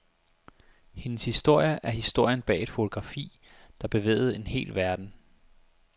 Hendes historie er historien bag et fotografi, der bevægede en hel verden.